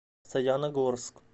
саяногорск